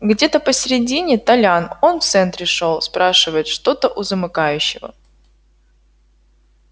где-то посередине толян он в центре шёл спрашивает что-то у замыкающего